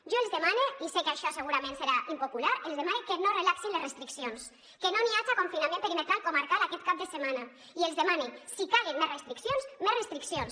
jo els demane i sé que això segurament serà impopular els demane que no relaxin les restriccions que no n’hi haja confinament perimetral comarcal aquest cap de setmana i els demane si calen més restriccions més restriccions